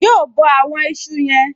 Yóò bọ àwọn ìṣù yen